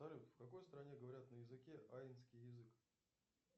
салют в какой стране говорят на языке аинский язык